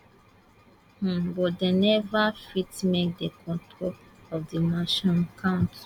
um but dem neva fit make dia control of di match um count